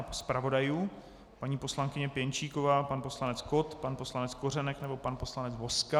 A zpravodajů - paní poslankyně Pěnčíková, pan poslanec Kott, pan poslanec Kořenek nebo pan poslanec Vozka?